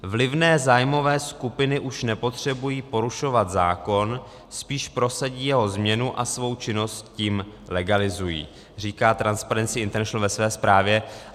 "Vlivné zájmové skupiny už nepotřebují porušovat zákon, spíš prosadí jeho změnu a svou činnost tím legalizují," říká Transparency international ve své zprávě.